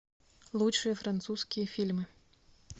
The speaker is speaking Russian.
лучшие французские фильмы